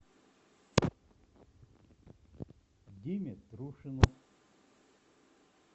диме трушину